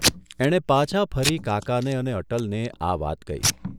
એણે પાછા ફરી કાકાને અને અટલને આ વાત કહી.